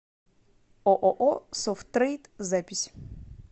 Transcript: ооо софт трейд запись